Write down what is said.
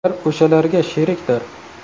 Ular o‘shalarga sherikdir’.